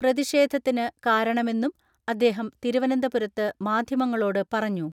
പ്രതിഷേധത്തിന് കാരണമെന്നും അദ്ദേഹം തിരുവനന്തപുരത്ത് മാധ്യമങ്ങളോട് പറഞ്ഞു.